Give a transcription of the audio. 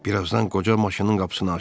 Bir azdan qoca maşının qapısını açdı.